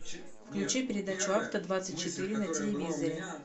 включи передачу авто двадцать четыре на телевизоре